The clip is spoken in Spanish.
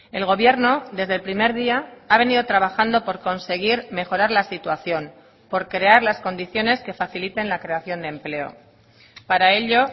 el gobierno desde el primer día ha venido trabajando por conseguir mejorar la situación por crear las condiciones que faciliten la creación de empleo para ello